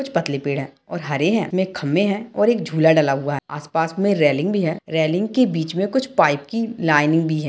कुछ पतले पेड़ है और हरे हैं इसमें खंभे हैं और एक झूला डला हुआ है और आस-पास में रेलिंग भी है रेलिंग के बीच में कुछ पाइप की लाइनिंग भी है।